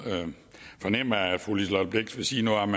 fornemme at fru liselott blixt vil sige noget om